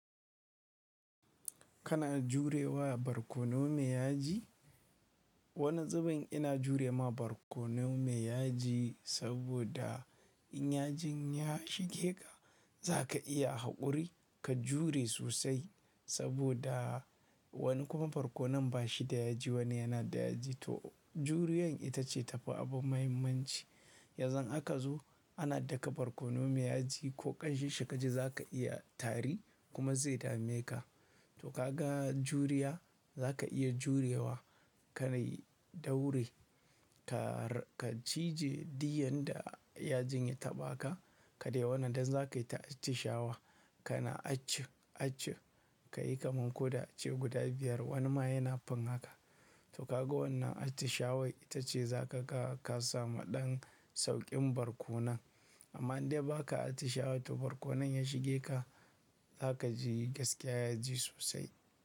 Kana jurewa barkono mai yaji? Wani tsibin ina jure ma barkono mai yaji saboda in yajin ya shige ka, za ka iya haƙuri ka jure sosai saboda wani kuma barkono ba shi da yaji, wani yana da yaji. To juriyan ita ce tafi abun muhimmanci. Yanzun aka zo ana daka barkono mai yaji ko ƙamshin shi ka ji zaka iya tari kuma zai dame ka. To kaga juriya zaka iya jurewa ka dai daure, ka cije duk yanda yajin ya taɓa ka. Ka dai wannan dan zaka yi ta attihawa, kana aci aci, kayi kaman ko da ace guda biyar wani ma yana fin haka. To kaga wannan attishawai, ita ce zaka ga ka samu ɗan sauƙin barkonon. Amma in dai ba ka attishawa to barkonon ya shige ka zaka ji gaskiya yaji sosai.